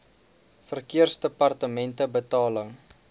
verkeersdepartementebetaling